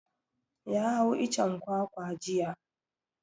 Ya hau icen kwakwa jiya.